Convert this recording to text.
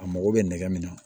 A mago bɛ nɛgɛ min na